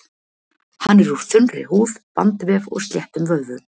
Hann er úr þunnri húð, bandvef og sléttum vöðvum.